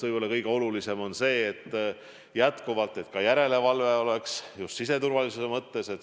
Võib-olla kõige olulisem on see, et ka järelevalve oleks, just siseturvalisuse mõttes korralik.